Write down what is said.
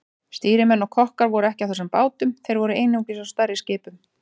Stýrimenn og kokkar voru ekki á þessum bátum, þeir voru einungis á stærri skipunum.